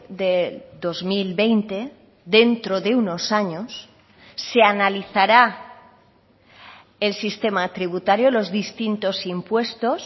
de dos mil veinte dentro de unos años se analizará el sistema tributario los distintos impuestos